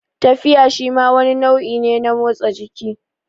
Tafiya shima wani nau'i ne na motsa jiki